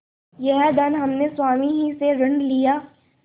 यह धन हमने स्वामी ही से ऋण लिया